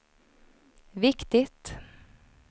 viktigt